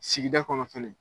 Sigida kɔnɔ fɛnɛ.